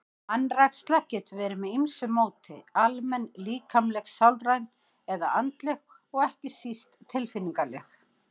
Vanræksla getur verið með ýmsu móti, almenn, líkamleg, sálræn eða andleg og ekki síst tilfinningaleg.